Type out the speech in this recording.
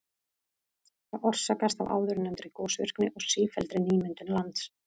Það orsakast af áðurnefndri gosvirkni og sífelldri nýmyndun lands.